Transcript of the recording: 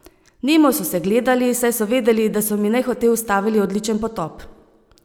Nemo so se gledali, saj so vedeli, da so mi nehote ustavili odličen potop.